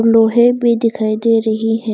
लोहे भी दिखाई दे रही है।